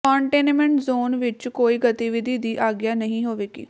containment zone ਵਿੱਚ ਕੋਈ ਗਤੀਵਿਧੀ ਦੀ ਆਗਿਆ ਨਹੀਂ ਹੋਵੇਗੀ